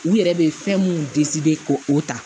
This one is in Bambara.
U yɛrɛ bɛ fɛn mun ko o ta